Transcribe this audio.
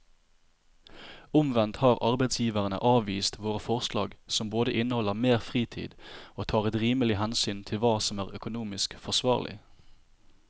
Omvendt har arbeidsgiverne avvist våre forslag som både inneholder mer fritid og tar et rimelig hensyn til hva som er økonomisk forsvarlig.